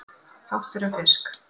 Fátt er um fisk